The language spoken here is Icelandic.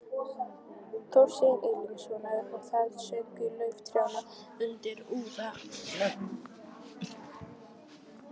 Þorsteins Erlingssonar, og það söng í laufi trjánna undir úðanum.